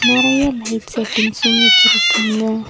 நெறையா light settings வச்சு இருக்காங்க.